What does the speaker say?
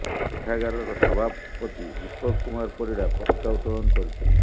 ପାଠାଗାରର ସଭାପତି ଦୀପକ୍ କୁମାର ପରିଡ଼ା ପତକା ଉତ୍ତୋଳନ କରିଥିଲେ